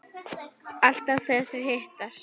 Alltaf þegar þau hittast